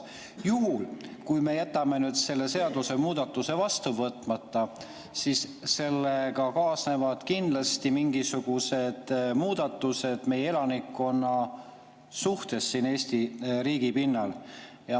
Juhul, kui me jätame selle seadusemuudatuse vastu võtmata, siis sellega kaasnevad kindlasti mingisugused muudatused meie elanikkonna suhtes siin Eesti riigi pinnal.